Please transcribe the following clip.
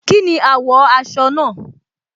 Kínni àwò aso náà?